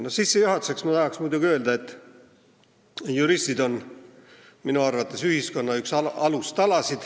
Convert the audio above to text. Sissejuhatuseks tahaksin öelda, et juristid on minu arvates ühiskonna üks alustalasid.